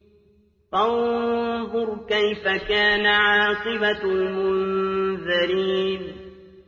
فَانظُرْ كَيْفَ كَانَ عَاقِبَةُ الْمُنذَرِينَ